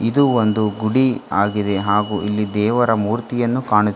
ಇದು ಒಂದು ಗುಡಿ ಆಗಿದೆ ಹಾಗು ಇಲ್ಲಿ ದೇವರ ಮೂರ್ತಿಯನ್ನು ಕಾಣು--